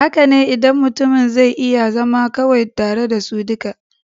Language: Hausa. Haka ne, idan mutumin zai iya zama kawai tare da su duka.